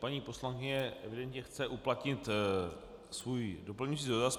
Paní poslankyně evidentně chce uplatnit svůj doplňující dotaz.